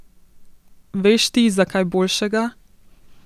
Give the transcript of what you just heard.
Veš ti za kaj boljšega?